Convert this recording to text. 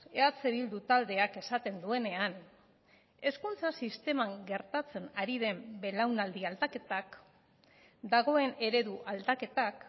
eh bildu taldeak esaten duenean hezkuntza sisteman gertatzen ari den belaunaldi aldaketak dagoen eredu aldaketak